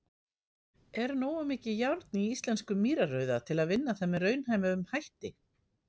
Er nógu mikið járn í íslenskum mýrarauða til vinna það með raunhæfum hætti?.